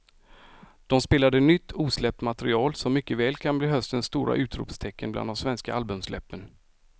De spelade nytt osläppt material som mycket väl kan bli höstens stora utropstecken bland de svenska albumsläppen.